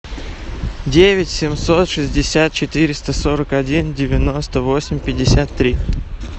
девять семьсот шестьдесят четыреста сорок один девяносто восемь пятьдесят три